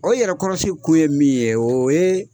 O yɛrɛkɔrɔsi kun ye min ye o ye